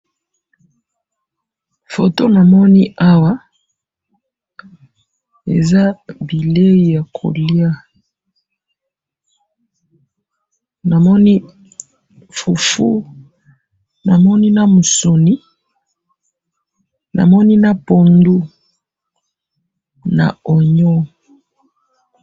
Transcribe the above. Foto namoni awa eza bileyi yakoliya, namoni fufu, namoni namususni, namoni na pondu na oignon